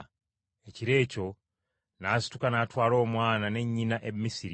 Ekiro ekyo n’asituka n’atwala Omwana ne nnyina e Misiri.